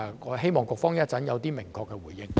我希望局方稍後作出明確的回應。